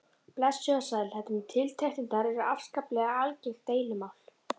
Blessuð og sæl, þetta með tiltektirnar er afskaplega algengt deilumál.